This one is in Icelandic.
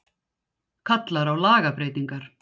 Kallar á lagabreytingar